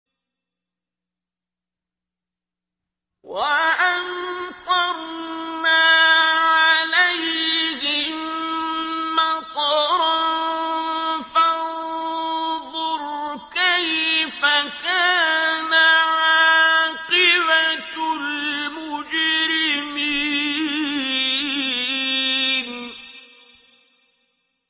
وَأَمْطَرْنَا عَلَيْهِم مَّطَرًا ۖ فَانظُرْ كَيْفَ كَانَ عَاقِبَةُ الْمُجْرِمِينَ